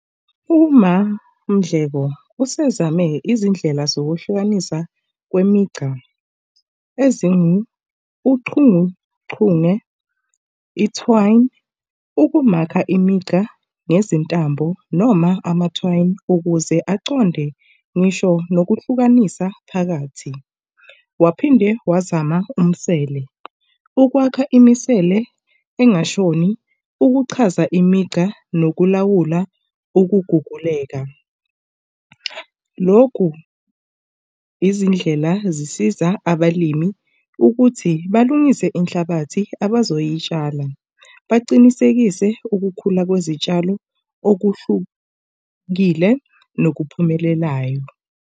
UMaMndleko usezame izindlela zokuhlukanisa kwemigca ezingu, uchunguchunge, ithiwayi ukumakha imigca nezintambo noma amathiwayi ukuze aconde ngisho nokuhlukanisa phakathi. Waphinde wazama umsele. Ukwakha imisele engakashoni. Ukuchaza imigca nokulawula ukuguguleka. Loku izindlela zisiza abalimi ukuthi balungise inhlabathi abazoyitshala. Bacinisekise ukukhula kwezitshalo okuhlukile nokuphumelelayo.